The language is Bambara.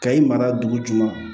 Ka i mara dugu jukɔrɔ